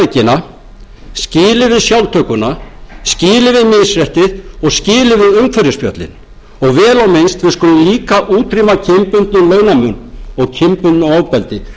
sjálftökuna skilið við misréttið og skilið við umhverfisspjöllin og vel á minnst við skulum líka útrýma kynbundnum launamun og kynbundnu ofbeldi